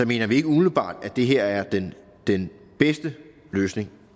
mener vi ikke umiddelbart at det her er den den bedste løsning